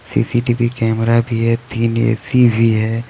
CCTV camera भी है तीन ए_सी भी है.